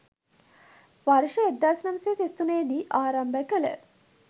වර්ෂ 1933 දී ආරම්භ කළ